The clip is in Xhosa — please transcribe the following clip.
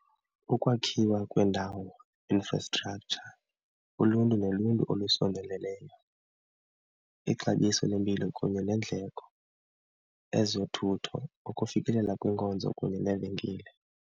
Ukwakhiwa kwendawo, infrastructure, uluntu noluntu olusondeleleneyo, ixabiso lempilo kunye neendleko, ezothutho ukufikelela kwiinkonzo kunye neevenkile.